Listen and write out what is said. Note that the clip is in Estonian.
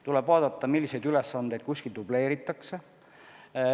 Tuleb vaadata, milliseid ülesandeid kuskil dubleeritakse.